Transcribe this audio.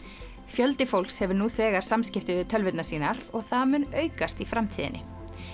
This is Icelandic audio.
fjöldi fólks hefur nú þegar samskipti við tölvurnar sínar og það mun aukast í framtíðinni